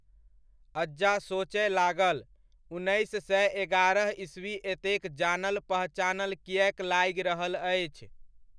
अज्जा सोचय लागल, उन्नैस सए एगारह ईस्वी एतेक जानल पहचानल किएक लागि रहल अछि?